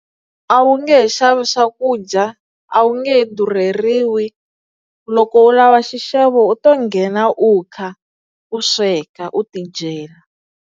A wu nge he xavi swakudya a wu nge he durheriwi loko u lava xixevo u to nghena u kha u sweka u ti dyela.